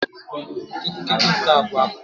K'egwu k'egwu nke abụọ apụta.